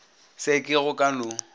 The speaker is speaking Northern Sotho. se ke go ka no